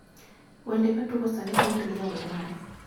wende matugo sani nower gi jawer mane